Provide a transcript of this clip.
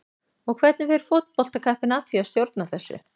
Og hvernig fer fótboltakappinn að því að stjórna þessu?